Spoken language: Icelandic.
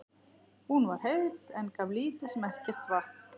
Hún var heit, en gaf lítið sem ekkert vatn.